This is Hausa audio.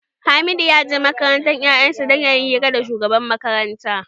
Halidu ya je makarantar 'ya'yan sa dan yayi hira da shugaban makaranta.